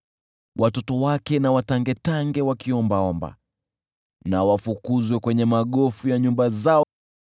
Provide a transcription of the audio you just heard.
Watoto wake na watangetange wakiomba, na wafukuzwe kwenye magofu ya nyumba zao.